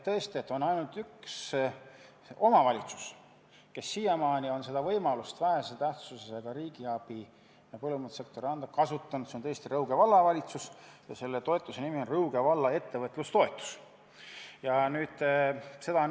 Tõesti, on ainult üks omavalitsus, kes siiamaani on võimalust saada vähese tähtsusega riigiabi, mida põllumajandussektorile antakse, kasutanud – see on Rõuge Vallavalitsus ja selle toetuse nimi on Rõuge valla ettevõtlustoetus.